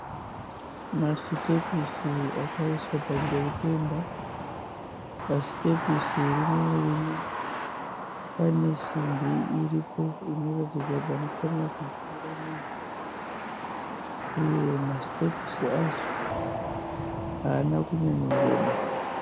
Masitepisi akaiswa pamberi peimba. Pasitepisi rimwe nerimwe pane simbi iripo inoratidza panofanira kugumira munhu uye masitepisi acho haana kunyanyoreba